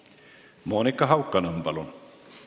Monika Haukanõmm, palun!